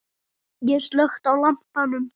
Ég slökkti á lampanum.